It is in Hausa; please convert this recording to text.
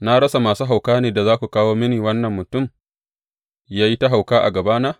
Na rasa masu hauka ne da za ku kawo mini wannan mutum yă yi ta hauka a gabana?